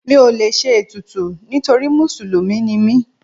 Mi ò lè ṣe ètùtù nítorí Mùsùlùmí ni mí.